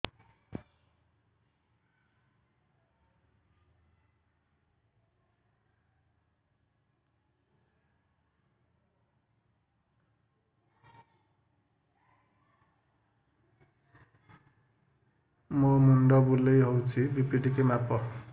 ମୋ ମୁଣ୍ଡ ବୁଲେଇ ହଉଚି ବି.ପି ଟିକେ ମାପ